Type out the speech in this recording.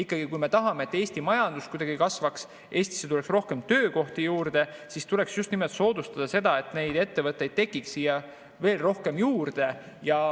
Kui me ikkagi tahame, et Eesti majandus kasvaks, et Eestisse tuleks rohkem töökohti juurde, siis tuleks just nimelt soodustada seda, et neid ettevõtteid tekiks siia veel rohkem juurde.